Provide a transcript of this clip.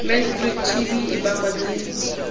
mdr tb e bakwa ke